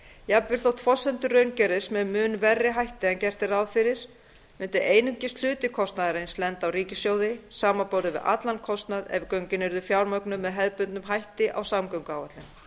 jafnvel þótt forsendur raungerist með mun verri hætti en gert er ráð fyrir myndi einungis hluti kostnaðarins lenda á ríkissjóði samanborið við allan kostnað ef göngin yrðu fjármögnuð með hefðbundnum hætti á samgönguáætlun